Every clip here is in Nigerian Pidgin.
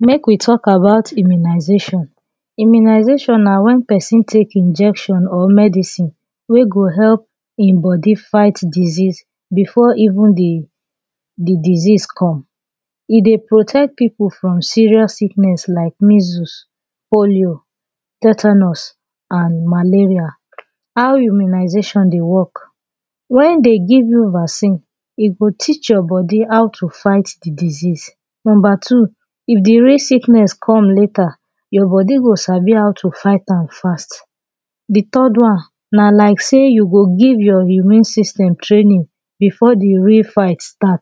make we talk about Immunisation Immunisation na when person take injection or medicine wey go help him body fight diseases before even the disease come e dey protect people from serious sickness like measles polio tetanus and malaria. How immunisation dey work when they give you vaccine e go teach your body how to fight the disease If the real sickness comes later your body go Sabi how to fight am fast The third one na like say you go give your immune system training before the real fight start.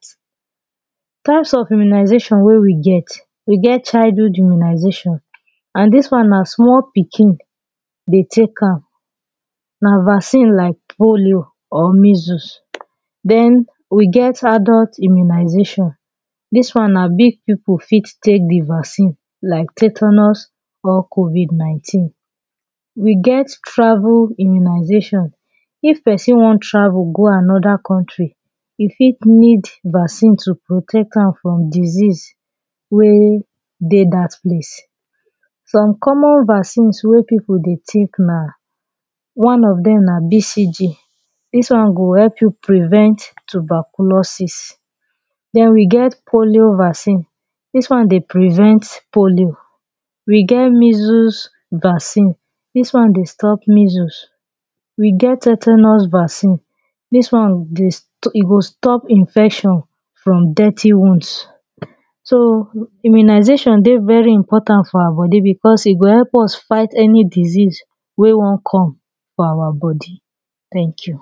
Types of immunisation wey we get. We get childhood immunization and this one na small pikin dey take am na vaccine like polio or measles. Then we get adult immunisation this one na big people fit take the vaccine like tetanus or COVID 19 we get travel immunisation if person wan travel go another country e fit need vaccine to protect am from disease wey dey that place Some common vaccine wey people dey take na one of them na BCG this one go help you prevent tuberculosis then we get polio vaccine this one dey prevent polio we get measels vaccine this one dey stop measels we get tetanus vaccine this one e go stop infection from dirty wounds so immunisation dey very important for our body because e go help us fight any disease wey wan come for our body. Thank you